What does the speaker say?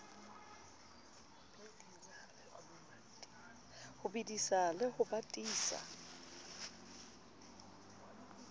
ho bedisa le ho batisa